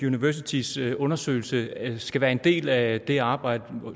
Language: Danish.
universitys undersøgelse skal være en del af det arbejde